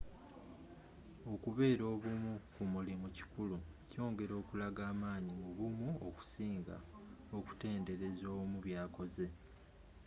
okubeera obumu ku mulimu kikulu kyongera okulaga amaanyi mu bumu okusinga okutenderaza omu byakoze